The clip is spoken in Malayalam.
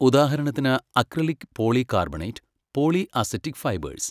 ഉദാഹരണത്തിന് acrylic polycarbonate, poly acetic ഫൈബഴേസ്.